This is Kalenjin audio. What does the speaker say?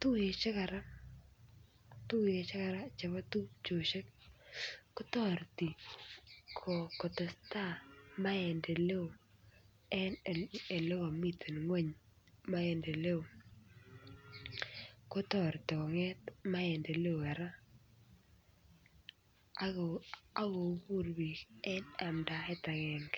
tuyoshek kora tuyoshek kora chebo tupchoshek kotoreti koteseta maendeleo en elekomiten ngweny maendeleo kotoreti konget maendeleo kora ak kobut biik en amdaet agenge